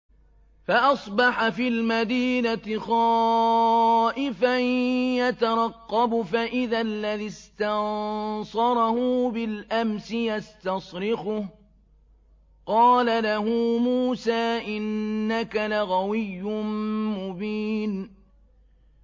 فَأَصْبَحَ فِي الْمَدِينَةِ خَائِفًا يَتَرَقَّبُ فَإِذَا الَّذِي اسْتَنصَرَهُ بِالْأَمْسِ يَسْتَصْرِخُهُ ۚ قَالَ لَهُ مُوسَىٰ إِنَّكَ لَغَوِيٌّ مُّبِينٌ